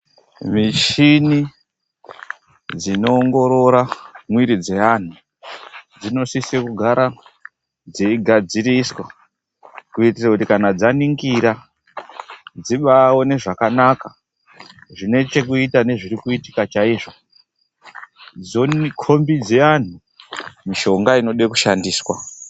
Mishini dzinoongorora mwiri dzeanhu dzinosise kugara dzeigadziriswa, kuitira kuti kana dzaningira dzibaone zvakanaka zvinechekuita nezvirikuitika chaizvo, dzokombidza anhu mishonga inode kushandiswa.